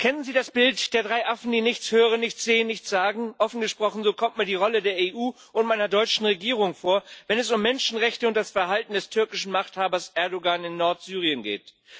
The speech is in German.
Kennen Sie das Bild der drei Affen, die nichts hören, nichts sehen, nichts sagen? Offen gesprochen So kommt mir die Rolle der EU und meiner deutschen Regierung vor, wenn es um Menschenrechte und das Verhalten des türkischen Machthabers Erdoğan in Nordsyrien geht.